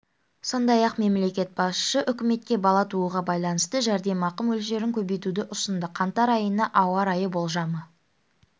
сондай-ақ мемлекет басшысы үкіметке бала тууға байланысты жәрдемақы мөлшерін көбейтуді ұсынды қаңтар айына ауа райы болжамы